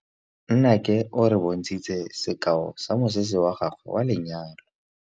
Nnake o re bontshitse sekaô sa mosese wa gagwe wa lenyalo.